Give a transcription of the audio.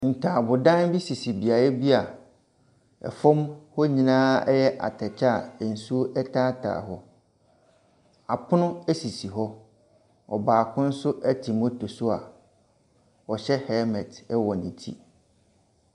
Ntaabodan bi sisi dua bi a ɛfam hɔ nyinaa yɛ atɛkyɛ a nsuo taataa hɔ. Apono esisi hɔ, ɔbaako nso te motor so a ɔhyɛ helmet wɔ ne ti.